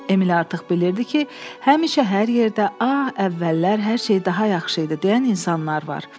Emil artıq bilirdi ki, həmişə hər yerdə, ah əvvəllər hər şey daha yaxşı idi deyən insanlar var.